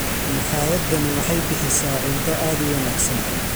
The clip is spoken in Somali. Makhaayadani waxay bixisaa cunto aad u wanaagsan.